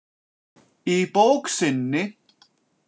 Í bók sinni.